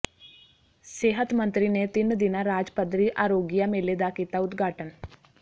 ਸਿਹਤ ਮੰਤਰੀ ਨੇ ਤਿੰਨ ਦਿਨਾਂ ਰਾਜ ਪੱਧਰੀ ਆਰੋਗਿਆ ਮੇਲੇ ਦਾ ਕੀਤਾ ਉਦਘਾਟਨ